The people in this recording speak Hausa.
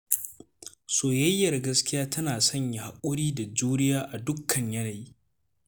Soyayyar gaskiya tana sanya haƙuri da juriya a dukkan yanayi.